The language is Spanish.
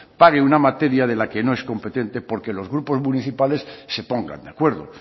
pague una materia de la que no es competente porque grupos municipales se pongan de acuerdo